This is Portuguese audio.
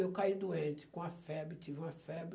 Eu caí doente, com uma febre, tive uma febre.